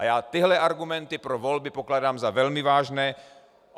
A já tyhle argumenty pro volby pokládám za velmi vážné.